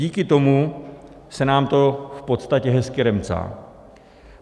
Díky tomu se nám to v podstatě hezky remcá.